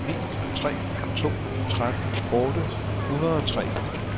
syv ni tre to tretten otte hundrede og tre